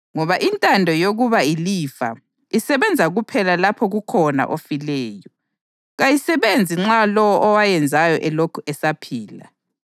ngoba intando yokwaba ilifa isebenza kuphela lapho kukhona ofileyo; kayisebenzi nxa lowo owayenzayo elokhu esaphila.